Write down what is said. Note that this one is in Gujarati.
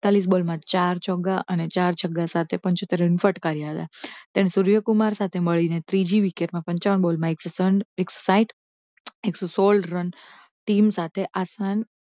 એકતાલીશ બોલમાં ચાર ચોક્કા અને ચાર છગ્ગા સાથે પંચોતેર રન ફટકાર્યા હતા જ્યારે સૂર્ય કુમાર સાથે મળીને ત્રીજી વિકેટમાં પંચાવન બોલમાં એક સો ત્રણ એક સો સાહીંઠ એક સો સોળ રન team સાથે આસાન